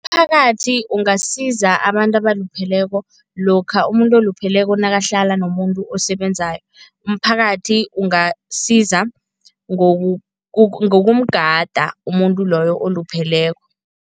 Umphakathi ungasiza abantu abalupheleko lokha umuntu olupheleko nakahlala nomuntu osebenzako. Umphakathi ungasiza ngokumgada umuntu loyo olupheleko.